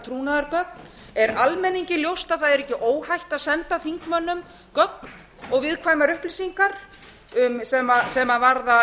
trúnaðargögn er almenningi ljóst að það er ekki óhætt að senda þingmönnum gögn og viðkvæmar upplýsingar sem varða